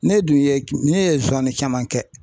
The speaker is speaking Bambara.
Ne dun ye ,ne ye caman kɛ.